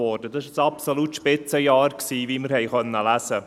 Das war das absolute Spitzenjahr, wie wir lesen konnten.